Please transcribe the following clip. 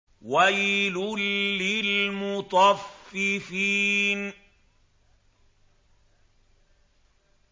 وَيْلٌ لِّلْمُطَفِّفِينَ